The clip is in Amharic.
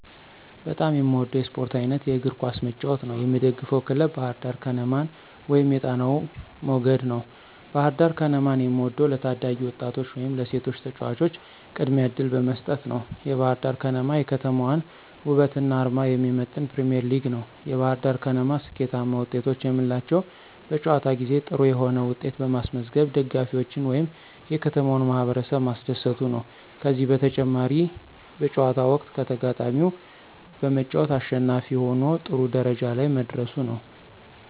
በጣም የምወደው የስፖርት አይነት የእግር ኳስ መጫወት ነው። የምደግፈው ክለብ ባህርዳር ከነማን ወይም የጣናው መገድ ነው። ባህርዳር ከነማን የምወደው ለታዳጊ ወጣቶች ወይም ለሴቶች ተጫዋቾች ቅድሚያ እድል በመስጠት ነዉ። የባህርዳር ከነማ የከተማዋን ወበትና አርማ የሚመጥን ፕሪሚዬርሊግ ነው። የባህርዳር ከነማ ስኬታማ ወጤቶች የምንላቸው በጨዋታ ጊዜ ጥሩ የሆነ ዉጤት በማስመዝገብ ደጋፊዎችን ወይም የከተማውን ማህበረሰብ ማስደሰቱ ነዉ። ከዚህም በተጨማሪ በጨዋታው ወቅት ከተጋጣሚው በመጫወት አሸናፊ ሁኖ ጥሩ ደረጃ ላይ መድረሱ ነው።